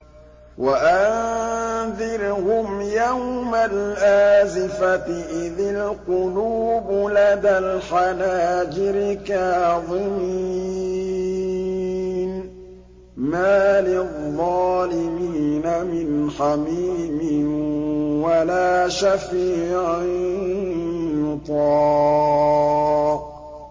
وَأَنذِرْهُمْ يَوْمَ الْآزِفَةِ إِذِ الْقُلُوبُ لَدَى الْحَنَاجِرِ كَاظِمِينَ ۚ مَا لِلظَّالِمِينَ مِنْ حَمِيمٍ وَلَا شَفِيعٍ يُطَاعُ